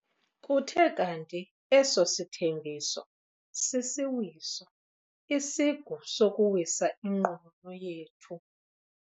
Kuthe kanti eso sithembiso sisiwiso, isigu sokuwisa inqununu yethu.